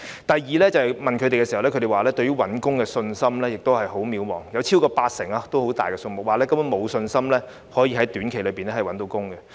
第二，受訪者表示對找到工作的信心十分渺茫，超過八成——數目相當大——受訪者表示根本沒有信心能夠在短期內找到工作。